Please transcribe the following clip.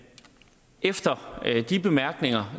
efter de bemærkninger